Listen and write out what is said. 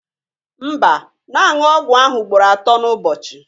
Mba, na-aṅụ ọgwụ ahụ ugboro atọ n'ụbọchị